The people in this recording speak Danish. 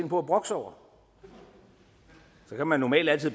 på at brokke sig over så kan man normalt altid